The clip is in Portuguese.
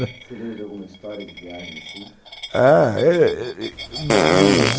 Você tem alguma história de viagem assim? Ah, é